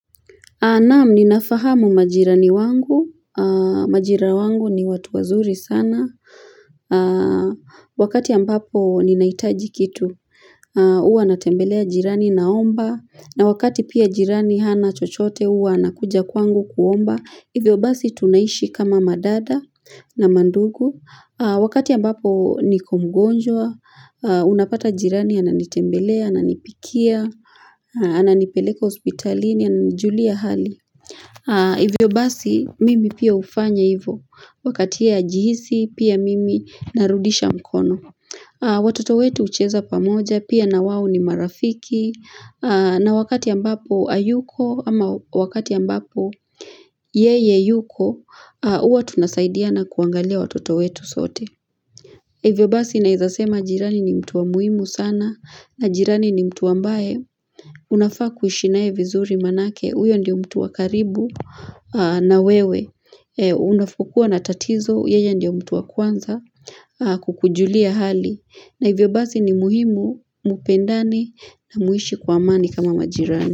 Naam ninafahamu majirani wangu majira wangu ni watu wazuri sana Wakati ambapo ninaitaji kitu uwa natembelea jirani naomba na wakati pia jirani hana chochote uwa anakuja kwangu kuomba Hivyo basi tunaishi kama madada na mandugu Wakati ambapo niko mgonjwa Unapata jirani ananitembelea, ananipikia Ananipeleka hospitalini, ananijulia hali Hivyo basi mimi pia hufanya hivo Wakati ye ajihisi pia mimi narudisha mkono Watoto wetu hucheza pamoja pia na wao ni marafiki na wakati ambapo ayuko ama wakati ambapo Yeye yuko, huwa tunasaidiana kuangalia watoto wetu sote Hivyo basi naezasema jirani ni mtu wa muhimu sana na jirani ni mtu ambae unafaa kuishi nae vizuri manake Uyo ndio mtu wa karibu na wewe Unapokuwa na tatizo yeye ndio mtu wa kwanza kukujulia hali na hivyo basi ni muhimu, mupendani na muishi kwa amani kama majirani.